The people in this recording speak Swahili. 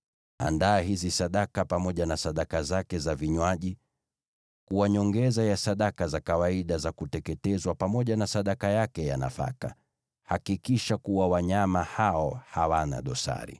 Andaa hizi sadaka pamoja na sadaka zake za vinywaji, kuwa nyongeza ya sadaka za kawaida za kuteketezwa, pamoja na sadaka yake ya nafaka. Hakikisha kuwa wanyama hao hawana dosari.